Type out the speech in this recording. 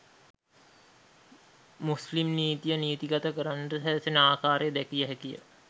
මුස්ලිම්නීතිය නීතිගත කරන්නට සැරසෙන ආකාරය දැකිය හැකිය